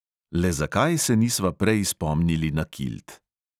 Le zakaj se nisva prej spomnili na kilt?